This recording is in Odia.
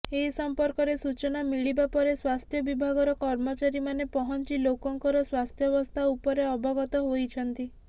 ଏ ସଂପର୍କରେ ସୂଚନା ମିଳିବା ପରେ ସ୍ୱାସ୍ଥ୍ୟ ବିଭାଗର କର୍ମଚାରୀମାନେ ପହଂଚି ଲୋକଙ୍କର ସ୍ୱାସ୍ଥ୍ୟାବସ୍ଥା ଉପରେ ଅବଗତ ହୋଇଛନ୍ତି